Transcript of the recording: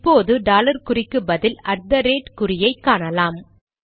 இப்போது டாலர் குறிக்கு பதில் அட் தெ ரேட் ஐ காணலாம்